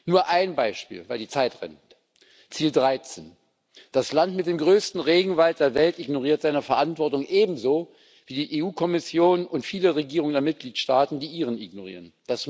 Nur ein Beispiel Ziel 13 Das Land mit dem größten Regenwald der Welt ignoriert seine Verantwortung ebenso, wie die Kommission und viele Regierungen der Mitgliedstaaten die ihrigen ignorieren.